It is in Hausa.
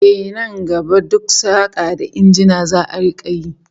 Ehh, nan gaba duk saka da injina za'a rika yi